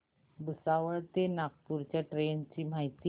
भुसावळ ते नागपूर च्या ट्रेन ची माहिती